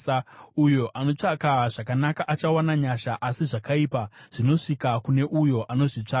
Uyo anotsvaka zvakanaka achawana nyasha, asi zvakaipa zvinosvika kune uyo anozvitsvaka.